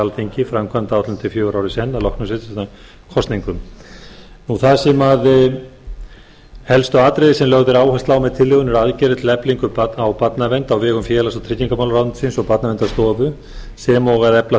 alþingi framkvæmdaáætlun til fjögurra ára í senn að loknum sveitarstjórnarkosningum helstu atriði sem lögð er áhersla á með tillögunni eru aðgerðir til eflingar barnavernd á vegum félags og tryggingamálaráðuneytisins og barnaverndarstofu sem og að efla